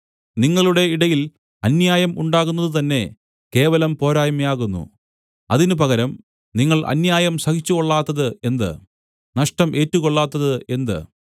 നിങ്ങളുടെ ഇടയിൽ അന്യായം ഉണ്ടാകുന്നത് തന്നെ കേവലം പോരായ്മയാകുന്നു അതിന് പകരം നിങ്ങൾ അന്യായം സഹിച്ചുകൊള്ളാത്തത് എന്ത് നഷ്ടം ഏറ്റുകൊള്ളാത്തത് എന്ത്